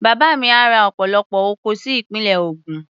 Bàbá mi á ra ọ̀pọ̀lọpọ̀ oko sí ìpínlẹ̀ Ògùn.